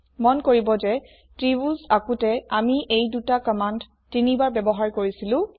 মন কৰিব যে ত্ৰিভূজ আকোঁতে আমি এই ২টা কম্মান্দ ৩ বাৰ ব্যৱহাৰ কৰিছিলো